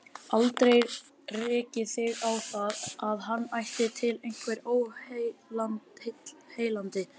Aldrei rekið þig á það, að hann ætti til einhver óheilindi?